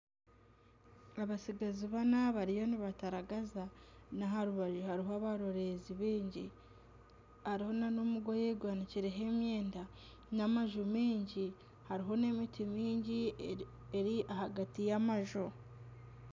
Abatsigazi bana bariyo nibataragaza naha rubaju hariho abaroreezi baingi hariho nana omugoye gwanikireho emyenda n'amuju maingi hariho nana emiti mingi eri ahagati y'amaju